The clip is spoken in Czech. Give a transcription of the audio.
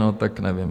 No, tak nevím.